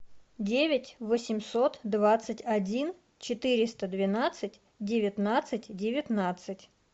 девять восемьсот двадцать один четыреста двенадцать девятнадцать девятнадцать